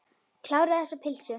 Kláraðu þessa pylsu.